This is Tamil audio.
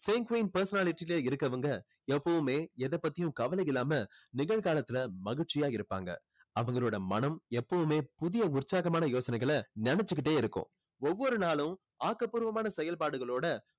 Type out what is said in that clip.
sanguine personality ல இருக்கவங்க எப்போவுமே எதை பத்தியும் கவலை இல்லாம நிகழ்காலத்துல மகிழ்ச்சியா இருப்பாங்க அவங்களோட மனம் எப்போவுமே புதிய உற்சாகமான யோசனைகளை நினைச்சுக்கிட்டே இருக்கும் ஒவ்வொரு நாளும் ஆக்க பூர்வமான செயல்பாடுகளோட